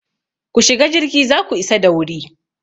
Ku shiga jirgi za ku isa da wuri!